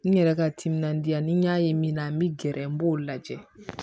N yɛrɛ ka timinandiya ni n y'a ye min na n bɛ gɛrɛ n b'o lajɛ